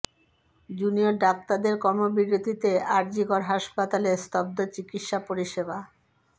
junior ডাক্তারদের কর্মবিরতিতে R G Kar হাসপাতালে স্তব্ধ চিকিৎসা পরিষেবা